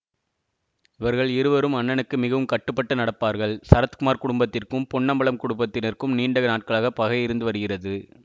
இவர்கள் இருவரும் அண்ணனுக்கு மிகவும் கட்டுப்பட்டு நடப்பார்கள் சரத்குமார் குடும்பத்திற்கும் பொன்னம்பலம் குடும்பத்தினர்க்கும் நீண்ட நாட்களாக பகை இருந்து வருகிறது